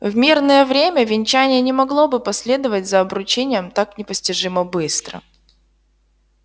в мирное время венчание не могло бы последовать за обручением так непостижимо быстро